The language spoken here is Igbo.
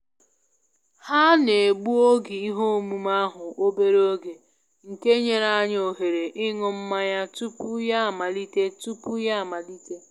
Ha na-egbu oge ihe omume ahụ obere oge, nke nyere anyị ohere ịṅụ mmanya tupu ya amalite tupu ya amalite